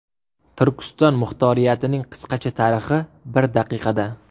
Turkiston muxtoriyatining qisqacha tarixi bir daqiqada.